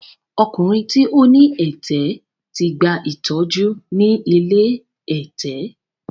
Ọkùnrin tí ó ní ẹ̀tẹ̀ ti gba ìtọ́jú ni ilé ẹ̀tẹ̀.